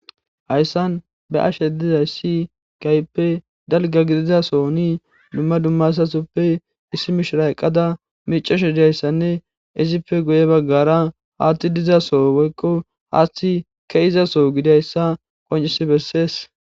Hayssan ba ashe dizay si kayppe dalga gidizaso ni dumma dummasasoppe issi mishira eqqada micesho idayssanne izippe guye baggara haatti dizaso woykko haatthi ke izaso gidayssa qoncisi bessees